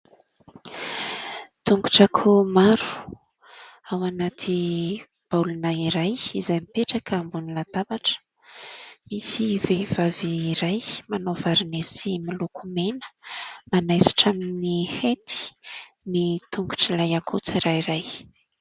Tongotr'akoho maro ao anaty baolina iray izay mipetraka ambon'ny latabatra. Misy vehivavy iray manao vary misy miloko mena manaisotra amin'ny hety ny tongotr'ilay akoho tsirairay.